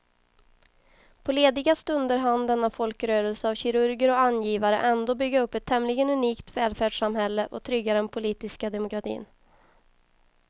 På lediga stunder hann denna folkrörelse av kirurger och angivare ändå bygga upp ett tämligen unikt välfärdssamhälle och trygga den politiska demokratin.